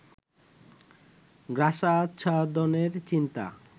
গ্রাসাচ্ছাদনের চিন্তা